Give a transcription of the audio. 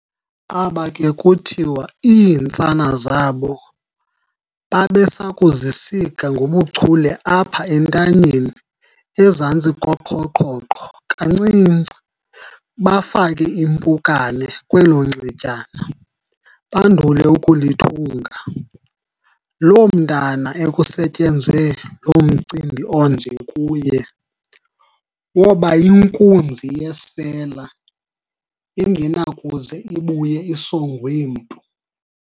Aba ke kuthiwa iintsana zabo babesakuzisika ngobuchule apha entanyeni ezantsi koqhoqhoqho kancinci, bafake impukane kwelo nxetyana, bandul eukulithunga. Lo mntwana ekusetyenzwe lo mcimbi onje kuye, woba yinkunzi yesela engenakuze ibuye isongwe mntu.